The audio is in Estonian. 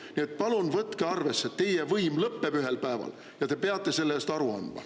Nii et palun võtke arvesse: teie võim lõpeb ühel päeval ja te peate sellest aru andma.